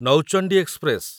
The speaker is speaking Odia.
ନୌଚଣ୍ଡି ଏକ୍ସପ୍ରେସ